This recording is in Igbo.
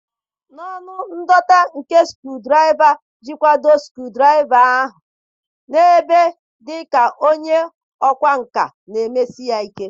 N'ọnụ ndọta nke skru-draiva jikwado skru ahụ n'ebe dị ka onye ọkwá nkà na-emesi ya ike.